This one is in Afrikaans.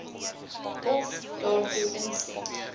of daartoe instem